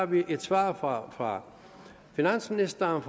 vi har et svar fra fra finansministeren